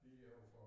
Lige overfor